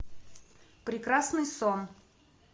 прекрасный сон